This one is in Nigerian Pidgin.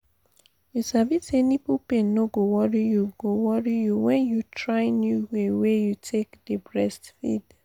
you sabi say nipple pain no go worry you go worry you when you try new way wey you take dey breastfeed